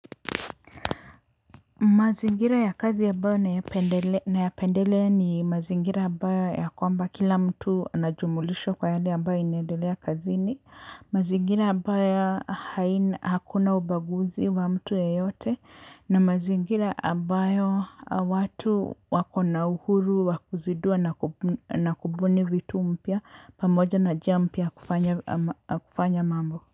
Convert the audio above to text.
Mazingira ya kazi abayo nayapendelea ni mazingira abayo ya kwamba kila mtu ana jumulisho kwa yale abayo inaedelea kazini. Mazingira abayo haina hakuna ubaguzi wa mtu yeyote. Na mazingira ambayo watu wako na uhuru wa kuzidua na kubuni vitu mpya pamoja na jia mpya ya kufanya mambo.